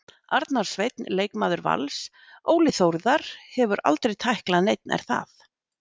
Arnar Sveinn leikmaður Vals Óli Þórðar hefur aldrei tæklað neinn er það?